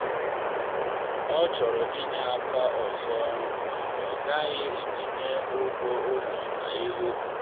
ọ chọrọ inye aka ma ọ ghaghị itinye ụgwọ ụlọ ya n’ihu.